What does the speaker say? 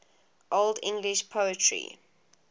old english poetry